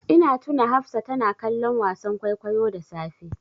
Ina tuna Hafsa tana kallon wasan kwaikwayo da safe.